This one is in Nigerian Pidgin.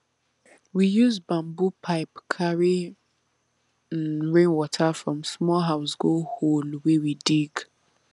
we use bamboo pipe carry um rainwater from small house go hole wey we dig